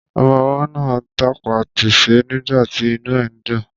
Ọmọwọ́ náà tapá tasẹ̀ nígbàtí inú ẹ̀ dùn.